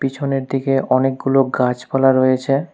পিছনের দিকে অনেকগুলো গাছপালা রয়েছে।